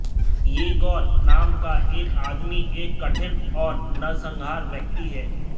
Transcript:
Yegor नाम का एक आदमी एक कठिन और नरसंहार व्यक्ति है